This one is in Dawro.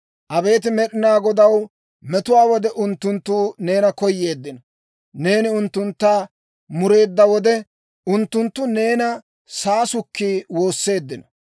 Abeet Med'inaa Godaw! Metuwaa wode unttunttu neena koyeeddino. Neeni unttuntta mureedda wode, unttunttu neena saasukki woosseeddino.